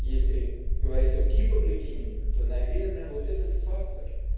если говорить о гипогликемии то наверно вот этот фактор